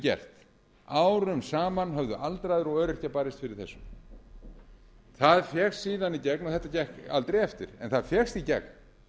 gert árum saman höfðu aldraðir og öryrkjar barist fyrir þessu þetta gekk aldrei eftir en það fékkst í gegn